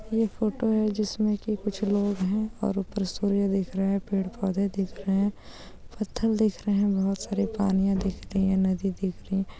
photo है जिसमें कुछ लोग हैं और ऊपर सूर्य दिख रहे हैं पेड़ पौधे दिख रहे हैं पत्थर दिख रहे हैं बहुत सारे बहुत सारे पानी दिख रही है नदी दिख रही है